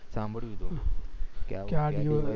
સાંભળ્યું હતું